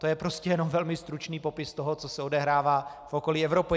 To je prostě jenom velmi stručný popis toho, co se odehrává v okolí Evropy.